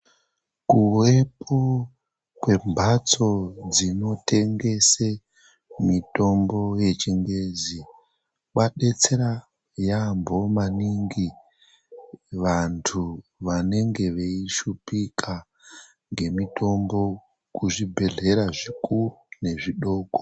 Kuvepo kwembatso dzinotengesa mitombo yechingezi kwadetsera yaambo maningi vantu vanenge veishupika ngemitombo kuzvibhedhlera zvikuru nezvidoko.